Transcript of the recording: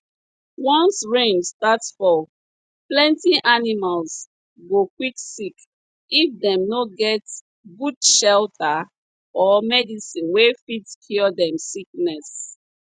once rain start fall plenty animals go quick sick if dem no get good shelter or medicine wey fit cure dem sickness